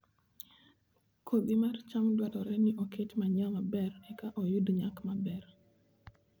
Kodhi mar cham dwarore ni oket manyiwa maber eka oyud nyak maber